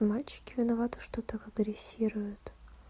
мальчики виноваты что так агрессируют